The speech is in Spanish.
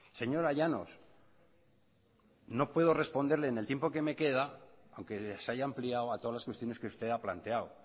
señora llanos no puedo responderle en el tiempo que me queda aunque se haya ampliado a todas las cuestiones que usted ha planteado